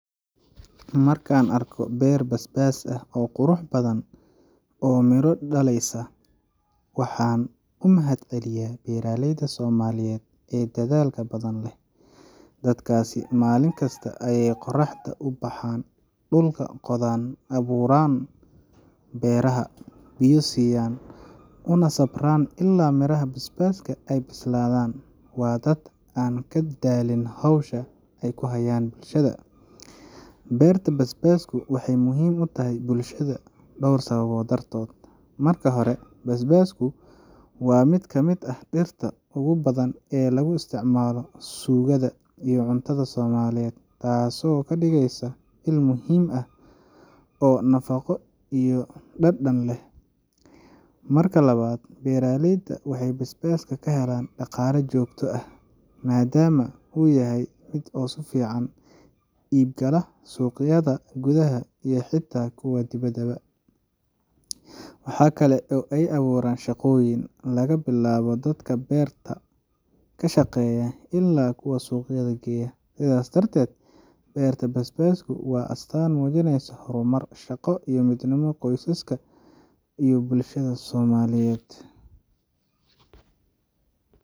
Marka aan arko beer basbaas ah oo qurux badan oo miro dhaleysa, waxaan u mahadceliyaa beeraleyda Soomaaliyeed ee dadaalka badan leh. Dadkaasi maalin kasta ayay qorraxda u baxaan, dhulka qodaaan, abuurka beeraha, biyo siiyaan, una sabraan ilaa miraha basbaaska ay bislaadaan. Waa dad aan ka daalin hawsha ay u hayaan bulshada. Beerta basbaasku waxay muhiim u tahay bulshada dhowr sababood dartood. Marka hore, basbaasku waa mid ka mid ah dhirta ugu badan ee lagu isticmaalo suugada iyo cuntada Soomaaliyeed, taasoo ka dhigaysa il muhiim ah oo nafaqo iyo dhadhan leh. Marka labaad, beeraleyda waxay basbaaska ka helaan dhaqaale joogto ah, maadaama uu yahay mid si oo fiican ugu iibgala suuqyada gudaha iyo xitaa kuwa dibadda. Waxaa kale oo ay abuurtaa shaqooyin laga bilaabo dadka beerta ka shaqeeya ilaa kuwa suuqyada geeya. Sidaas darteed, beerta basbaasku waa astaan muujinaysa horumar, shaqo, iyo midnimo qoysaska iyo bulshada Soomaaliyeed.